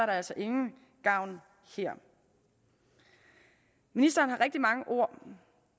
altså ingen gavn her ministeren har rigtig mange ord